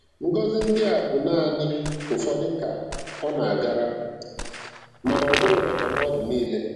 Ngọzi ndị a bụ naanị ụfọdụ ka um ọ na-agara, mana ọ bụ maka mmadụ niile.